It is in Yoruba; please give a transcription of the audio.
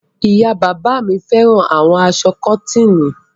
Ìyá-bàbá mi fẹ́ràn àwọn aṣọ kọ́tíìnì.